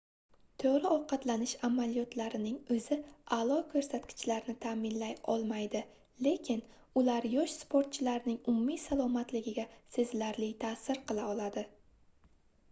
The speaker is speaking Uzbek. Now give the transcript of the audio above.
toʻgʻri ovqatlanish amaliyotlarining oʻzi aʼlo koʻrsatkichlarni taʼminlay olmaydi lekin ular yosh sportchilarning umumiy salomatligiga sezilarli taʼsir qila oladi